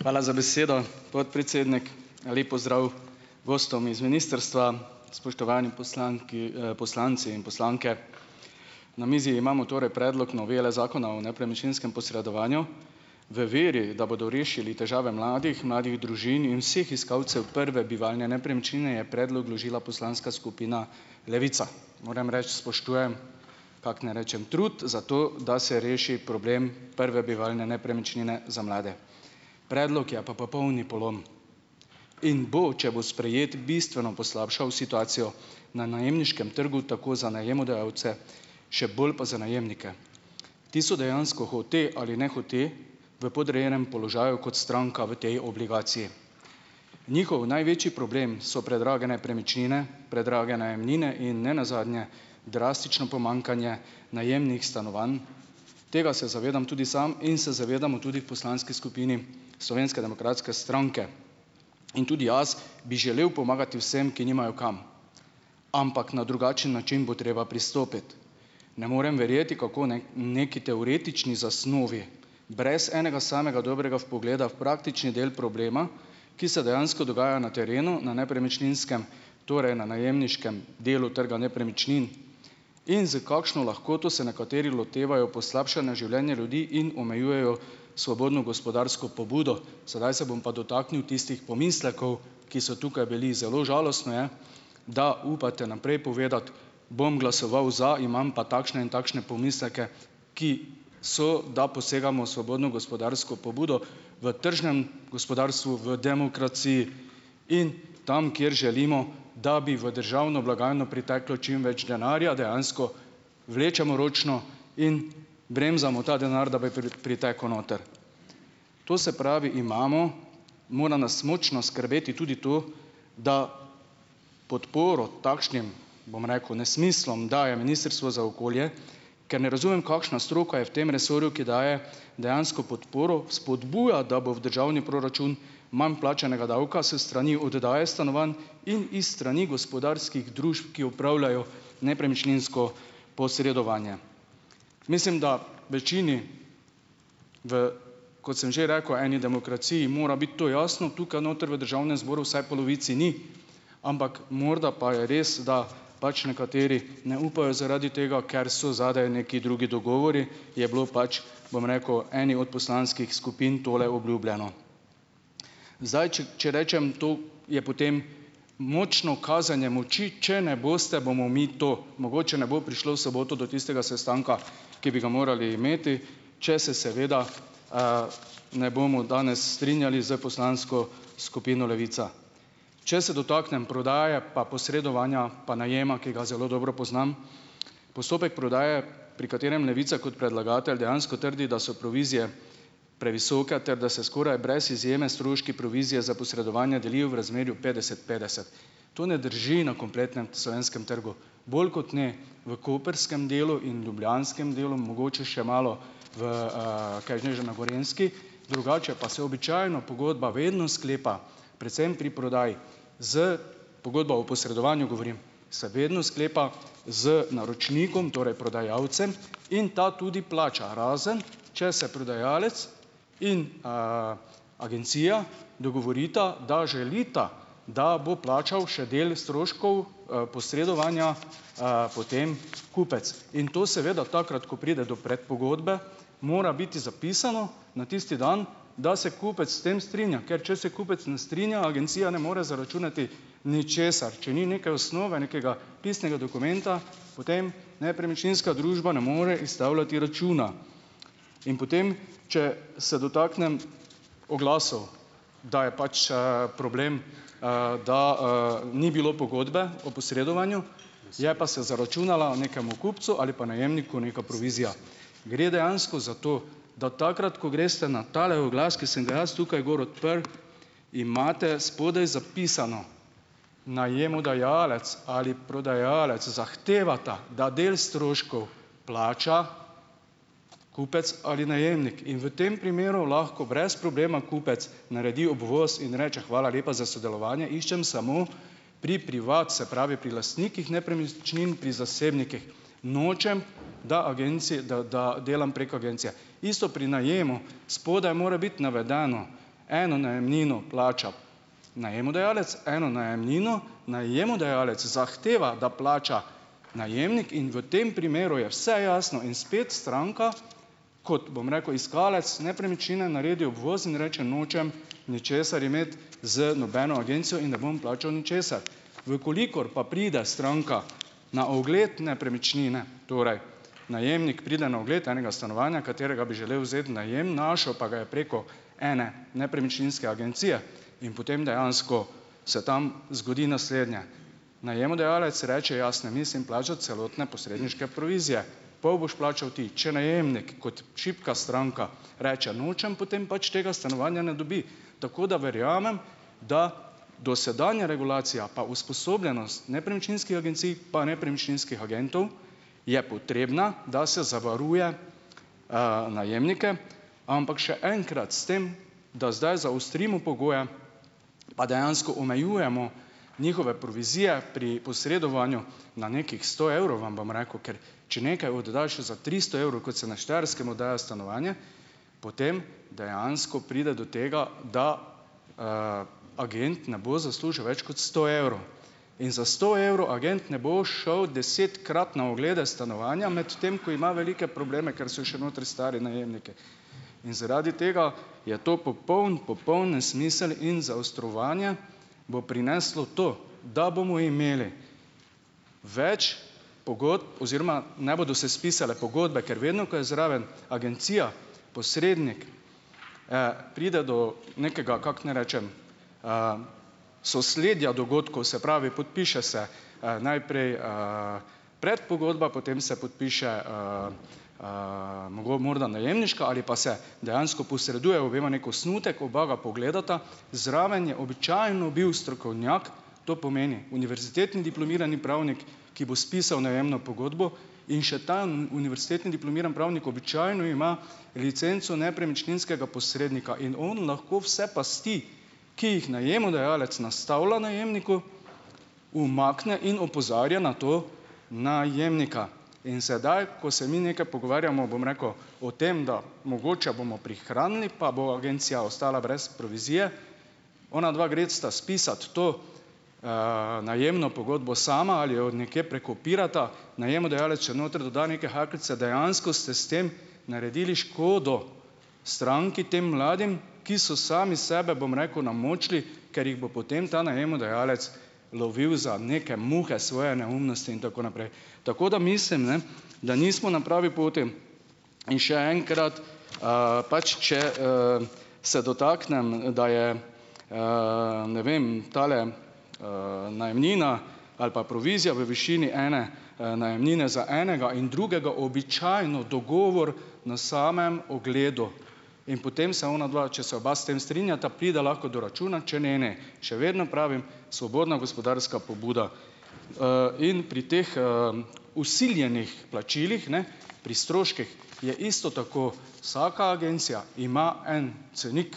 Hvala za besedo, podpredsednik, lep pozdrav gostom iz ministrstva, spoštovani poslanki, poslanci in poslanke, na mizi imamo torej predlog novele zakona o nepremičninskem posredovanju. V veri, da bodo rešili težave mladih, mladih družin in vseh iskalcev prve bivalne nepremičnine, je predlog vložila poslanska skupina Levica, moram reči, spoštujem, kako naj rečem, trud za to da se reši problem prve bivalne nepremičnine za mlade, predlog je pa popolni polom, in bo, če bo sprejet, bistveno poslabšal situacijo na najemniškem trgu tako za najemodajalce še bolj pa za najemnike, ti so dejansko hote ali nehote v podrejenem položaju kot stranka v tej obligaciji, njihov največji problem so predrage nepremičnine, predrage najemnine in nenazadnje drastično pomanjkanje najemnih stanovanj, tega se zavedam tudi sam in se zavedamo, se zavedamo tudi poslanski skupini Slovenske demokratske stranke in tudi jaz bi želel pomagati vsem, ki nimajo kam, ampak na drugačen način bo treba pristopiti, ne morem verjeti, kako naj neki teoretični zasnovi brez enega samega dobrega vpogleda v praktični del problema, ki se dejansko dogaja na terenu na nepremičninskem, torej na najemniškem delu trga nepremičnin, in s kakšno lahkoto se nekateri lotevajo poslabšanja življenja ljudi in omejujejo svobodno gospodarsko pobudo, sedaj se bom pa dotaknil tistih pomislekov, ki so tukaj bili, zelo žalostno je, da upate naprej povedati: "Bom glasoval za, imam pa takšne in takšne pomisleke, ki so da posegamo svobodno gospodarsko pobudo." V tržnem gospodarstvu v demokraciji in tam, kjer želimo, da bi v državno blagajno priteklo čim več denarja, dejansko vlečemo ročno in bremzamo ta denar, da bi pritekel noter, to se pravi, imamo, mora nas mučno skrbeti tudi tu, da podporo takšnim, bom rekel, nesmislom, da je ministrstvo za okolje, ker ne razumem, kakšna stroka je v tem resorju, ki daje dejansko podporo vzpodbujati, da bo v državni proračun manj plačanega davka s strani oddaje stanovanj in iz strani gospodarskih družb, ki opravljajo nepremičninsko posredovanje, mislim, da večini v, kot sem že rekel, eni demokraciji mora biti to jasno tukaj noter v državnem zboru, vsaj polovici ni, ampak morda pa je res, da pač nekateri ne upajo, zaradi tega ker so zadaj neki drugi dogovori, je bilo pač, bom rekel eni od poslanskih skupin tole obljubljeno, zdaj, če, če rečem, to je potem močno kazanje moči, če ne boste, bomo mi to, mogoče ne bo prišlo v soboto do tistega sestanka, ki bi ga morali imeti, če se seveda, ne bomo danes strinjali s poslansko skupino Levica, če se dotaknem prodaje pa posredovanja pa najema, ker ga zelo dobro poznam, postopek prodaje, pri katerem Levica kot predlagatelj dejansko trdi, da so provizije previsoke ter da se skoraj brez izjeme stroški provizije za posredovanje delijo v razmerju petdeset petdeset, to ne drži, na kompletnem slovenskem trgu bolj kot ne, v koprskem delu in ljubljanskem delu mogoče še malo, v, kaj ni že na Gorenjski drugače, pa se običajno pogodba vedno sklepa predvsem pri prodaji s, pogodba o posredovanju, govorim, se vedno sklepa z naročnikom, torej prodajalcem, in ta tudi plača, razen če se prodajalec in, agencija dogovorita, da želita, da bo plačal še del stroškov, posredovanja, potem kupec in to seveda takrat, ko pride do predpogodbe, mora biti zapisano na tisti dan, da se kupec s tem strinja, ker če se kupec ne strinja, agencija ne more zaračunati ničesar, če ni neke osnove nekega pisnega dokumenta, potem nepremičninska družba ne more izstavljati računa in potem, če se dotaknem oglasov, da je pač, problem, da, ni bilo pogodbe o posredovanju, je pa se zaračunala nekemu kupcu ali pa najemniku neka provizija, gre dejansko za to, da takrat ko greste na tale oglas, ki sem ga jaz tukaj gor odprl, imate spodaj zapisano najemodajalec ali prodajalec zahtevata, da del stroškov plača kupec ali najemnik, in v tem primeru lahko brez problema kupec naredi obvoz in reče: "Hvala lepa za sodelovanje, iščem samo pri privat, se pravi pri lastnikih nepremičnin pri zasebnikih, nočem, da agencija, da, da delam prek agencije." Isto pri najemu, spodaj more biti navedeno, eno najemnino plača najemodajalec, eno najemnino najemodajalec zahteva, da plača najemnik, in v tem primeru je vse jasno in spet stranka kot, bom rekel, iskalec nepremičnine naredi obvoz in reče: "Nočem ničesar imeti z nobeno agencijo in ne bom plačal ničesar." V kolikor pa pride stranka na ogled nepremičnine, torej najemnik pride na ogled enega stanovanja, katerega bi želel vzeti najem, našel pa ga ja preko ene nepremičninske agencije in potem dejansko se tam zgodi naslednje. Najemodajalec reče: "Jaz ne mislim plačati celotne posredniške provizije, pol boš plačal ti." Če najemnik kot šibka stranka reče: "Nočem potem pač tega stanovanja." Ne dobi, tako da verjamem, da dosedanja regulacija pa usposobljenost nepremičninskih agencij pa nepremičninskih agentov je potrebna, da se zavaruje, najemnike, ampak še enkrat s tem da zdaj zaostrimo pogoje pa dejansko omejujemo njihove provizije pri posredovanju na nekih sto evrov, vam bom rekel, ker če nekaj oddaš za tristo evrov, kot se na Štajerskem oddaja stanovanje, potem dejansko pride do tega, da, agent ne bo zaslužil več kot sto evrov in za sto evrov ne bo šel desetkrat na oglede stanovanja, medtem ko ima velike probleme, ker so še notri stari najemniki, in zaradi tega je to popoln, popoln nesmisel in zaostrovanje bo prineslo to, da bomo imeli več pogodb oziroma ne bodo se spisale pogodbe, ker vedno, ko je zraven agencija, posrednik, pride do nekega, kako naj rečem, sosledja dogodkov, se pravi, podpiše se, najprej, predpogodba, potem se podpiše, morda najemniška ali pa se dejansko posreduje obema neki osnutek, oba ga pogledata, zraven je običajno bil strokovnjak, to pomeni univerzitetni diplomirani pravnik, ki bo spisal najemno pogodbo, in še ta univerzitetni diplomiran pravnik običajno ima licenco nepremičninskega posrednika in oni lahko vse pasti, ki jih najemodajalec nastavlja najemniku, umakne in opozarja na to najemnika, in sedaj ko se mi nekaj pogovarjamo, bom rekel, o tem, da mogoče bomo prihranili, pa bo agencija ostala brez provizije, ona dva gresta spisat to, najemno pogodbo sama ali jo od nekje prekopirata, najemodajalec še noter doda neke hakeljce, dejansko ste s tem naredili škodo stranki, tem mladim, ki so sami sebe, bom rekel, namučili, ker jih bo potem ta najemodajalec lovil za neke muhe svoje neumnosti in tako naprej, tako da mislim, ne, da nismo na pravi poti in še enkrat, pač če, se dotaknem da je, ne vem, tale, najemnina ali pa provizija v višini ene, najemnine za enega in drugega običajno dogovor na samem ogledu in potem se onadva, če se oba s tem strinjata, pride lahko do računa, če ne ne, še vedno pravim svobodna gospodarska pobuda, in pri teh, vsiljenih plačilih, ne, pri stroških je isto tako, vsaka agencija ima en cenik